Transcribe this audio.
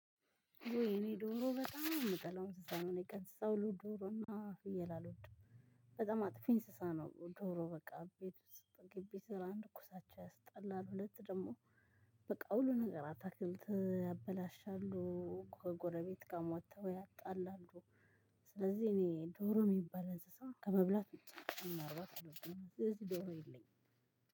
እኔ ዶሮ በጣም የምጠላው እንስሳ ነው ከእንስሳ ሁሉ ዶሮ እና ፍየል አልወድም። በጣም አጥፊ እንስሳ ነው። ዶሮ በቃ ግቢ ስር አንድ ኩሳቸው ያስጠላል። ሁለት ደግሞ በቃ ሁሉ ነገር አታክልት ያበላሻሉ። ከጎረቤት ጋር ወጥተው ያጣላሉ። ስለዚህ እኔ ዶሮ የሚባል እንስሳ ከመብላት ውጭ ማርባት አልወድም። ስለዚህ ዶሮ የለኝም።